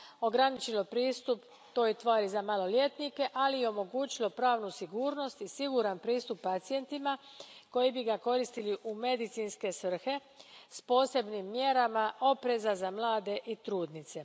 ograničio pristup toj tvari za maloljetnike, ali i omogućila pravna sigurnost i siguran pristup pacijentima koji bi ga koristili u medicinske svrhe s posebnim mjerama opreza za mlade i trudnice.